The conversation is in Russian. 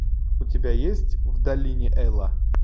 у тебя есть в долине эла